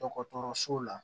Dɔgɔtɔrɔso la